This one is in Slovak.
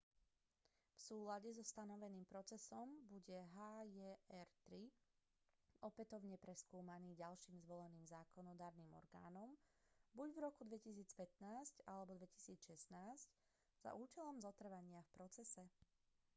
v súlade so stanoveným procesom bude hjr-3 opätovne preskúmaný ďalším zvoleným zákonodarným orgánom buď v roku 2015 alebo 2016 za účelom zotrvania v procese